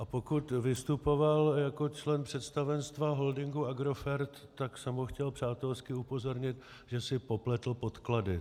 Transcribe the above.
A pokud vystupoval jako člen představenstva holdingu Agrofert, tak jsem ho chtěl přátelsky upozornit, že si popletl podklady.